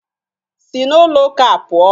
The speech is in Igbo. Si n'ụlọụka a pụọ!